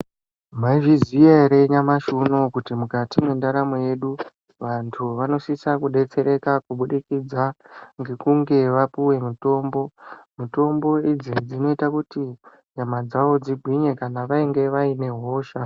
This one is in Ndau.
Maizviziya ere nyamashi unowu kuti mukati mwendaramo yedu vantu vanosisa kudetsereka kubudikidza ngekunge vapuwe mitombo. Mitombo idzi dzinoita kuti nyama dzavo dzigwinye kana vainge vaine hosha.